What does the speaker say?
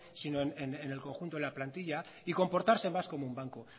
sino en el conjunto de la plantilla y comportarse más como un banco